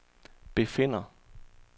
befinder